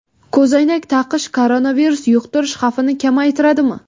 Ko‘zoynak taqish koronavirus yuqtirish xavfini kamaytiradimi?